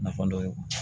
Nafa dɔ ye